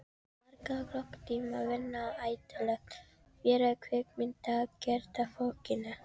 Margra klukkutíma vinna eyðilögð fyrir kvikmyndagerðarfólkinu.